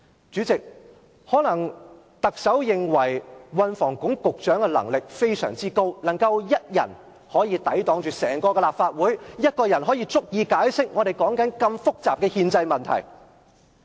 主席，特首可能認為運房局局長的能力非常高，能夠以一人抵擋整個立法會，單身一人便足以解釋我們現正討論的如此複雜的憲制問題。